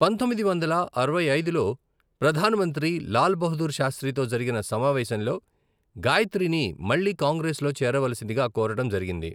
పంతొమ్మిది వందల అరవై ఐదులో, ప్రధానమంత్రి లాల్ బహదూర్ శాస్త్రితో జరిగిన సమావేశంలో, గాయత్రిని మళ్లీ కాంగ్రెస్లో చేరవలసిందిగా కోరడం జరిగింది.